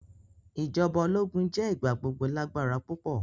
Ijọba ologun jẹ igbagbogbo lagbara pupọ.